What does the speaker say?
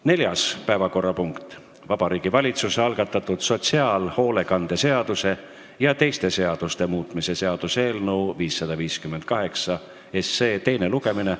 Neljas päevakorrapunkt: Vabariigi Valitsuse algatatud sotsiaalhoolekande seaduse ja teiste seaduste muutmise seaduse eelnõu 558 teine lugemine.